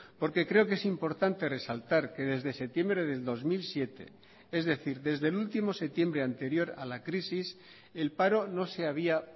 porque creo que es importante resaltar que desde septiembre del dos mil siete es decir desde el último septiembre anterior a la crisis el paro no se había